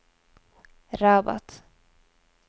Rabat